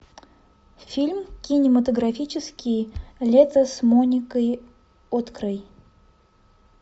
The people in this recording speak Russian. фильм кинематографический лето с моникой открой